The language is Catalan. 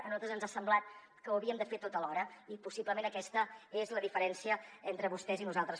a nosaltres ens ha semblat que ho havíem de fer tot alhora i possiblement aquesta és la diferència entre vostès i nosaltres